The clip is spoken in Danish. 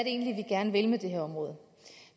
egentlig er vi gerne vil med det her område